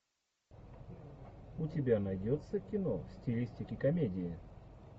у тебя найдется кино в стилистике комедии